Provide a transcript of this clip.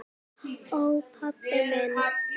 Ó, pabbi minn.